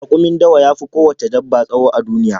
Raƙumin dawa ya fi ko wace dabba tsawo a duniya